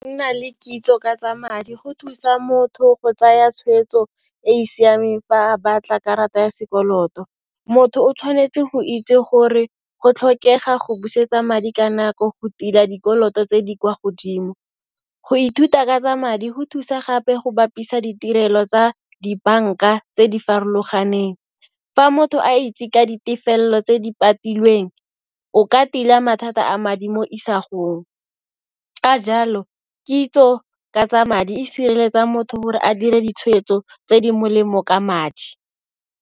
Nna le kitso ka tsa madi go thusa motho go tsaya tshweetso e e siameng fa a batla karata ya sekoloto. Motho o tshwanetse go itse gore go tlhokega go busetsa madi ka nako go tila dikoloto tse di kwa godimo. Go ithuta ka tsa madi go thusa gape go bapisa ditirelo tsa dibanka tse di farologaneng. Fa motho a itse ka ditefello tse di patilweng, o ka tila mathata a madi mo isagong, ka jalo kitso ka tsa madi e sireletsa motho gore a dire ditshweetso tse di molemo ka madi.